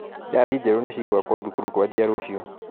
Irathi njerũ nĩcigũakũo thukuru kwanjia rũciũ.